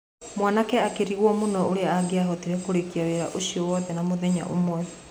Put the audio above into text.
Mwanake akĩrigwo mũno ũrĩa angiahotire kũrĩkia wĩra ũcio wothe na mũthenya ũmwe.